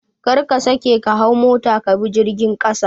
Kar ka sake ka hau mota ka bi jirgin ƙasa